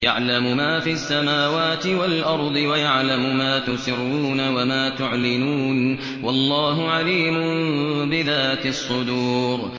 يَعْلَمُ مَا فِي السَّمَاوَاتِ وَالْأَرْضِ وَيَعْلَمُ مَا تُسِرُّونَ وَمَا تُعْلِنُونَ ۚ وَاللَّهُ عَلِيمٌ بِذَاتِ الصُّدُورِ